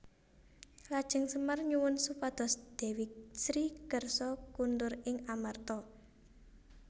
Lajeng Semar nyuwun supados Dewi Sri kersa kondur ing Amarta